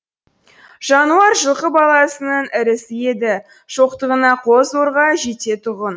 жануар жылқы баласының ірісі еді шоқтығына қол зорға жететұғын